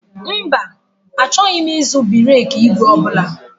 Mba, achọghị m ịzụ bereki ìgwè ọ bụla